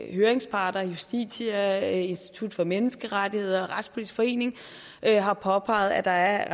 høringsparterne justitia institut for menneskerettigheder og retspolitisk forening har påpeget at der er